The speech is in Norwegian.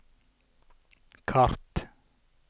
kart